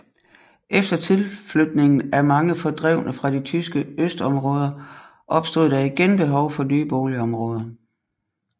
Efter tilflytningen af mange fordrevne fra de tyske østområder opstod der igen behov for nye boligområder